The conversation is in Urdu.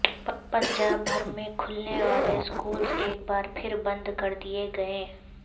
پنجاب بھر میں کھلنے والے اسکولز ایک بار پھر بند کر دئیے گئے